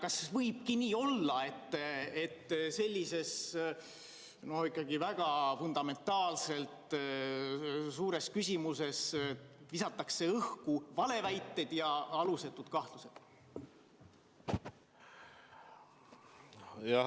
Ja kas võibki nii olla, et sellises no ikkagi väga fundamentaalses, suures küsimuses visatakse õhku valeväiteid ja alusetuid kahtlusi?